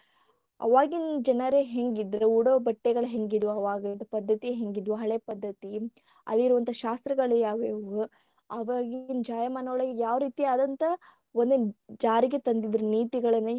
ಆವಾಗಿನ ಜನರ ಹೆಂಗಿದ್ರ ಉಡೋ ಬಟ್ಟೆಗಳ ಹೆಂಗಿದ್ವ ಆವಾಗಿಂದ ಪದ್ಧತಿ ಹೆಂಗಿದ್ವ ಹಳೆ ಪದ್ಧತಿ ಅಲ್ಲಿರುವಂತಹ ಶಾಸ್ತ್ರಾಗಳ್ಯಾವವೂ ಆವಾಗಿನ ಜಾಯಮಾನ ಒಳಗ ಯಾವ ರೀತಿ ಆದಂತ ಜಾರಿಗೆ ತಂದಿದ್ರ ನೀತಿಗಳನ್ನ.